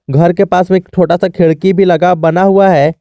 घर के पास में एक छोटा सा खिड़की भी लगा बना हुआ है।